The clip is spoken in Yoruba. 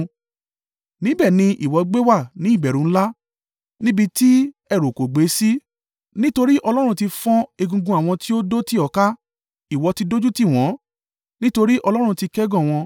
Níbẹ̀ ni ìwọ gbé wà ní ìbẹ̀rù ńlá níbi tí ẹ̀rù kò gbé sí, nítorí Ọlọ́run tí fọ́n egungun àwọn tí ó dó tì ọ́ ká; ìwọ tí dójútì wọ́n, nítorí Ọlọ́run ti kẹ́gàn wọn.